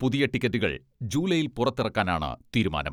പുതിയ ടിക്കറ്റുകൾ ജൂലൈയിൽ പുറത്തിറക്കാനാണ് തീരുമാനം.